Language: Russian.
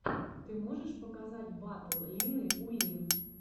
ты можешь показать батл лины уин